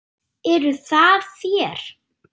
Eruð það þér?